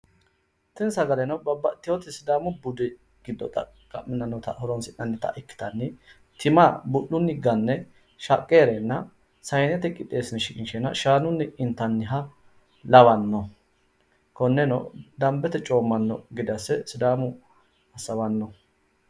tini sagaleno babbxxiteyoota sidaamu budu garinni horonsi'nannita ikkitanni tima bu'lunni ganne shaqqe heereenna sayinete qixeessine shiqinsheenna shaanunni inatanniha lawano konneno danbete coommanno gede asse sidaamu assawano